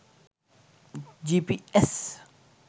gps